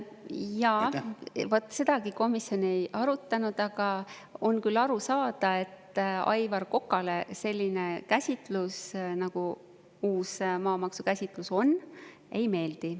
Jaa, vaat sedagi komisjon ei arutanud, aga on küll aru saada, et Aivar Kokale selline käsitlus, nagu uus maamaksu käsitlus on, ei meeldi.